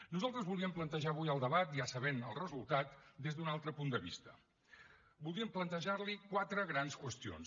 nosaltres voldríem plantejar avui el debat ja sabent ne el resultat des d’un altre punt de vista voldríem plantejar li quatre grans qüestions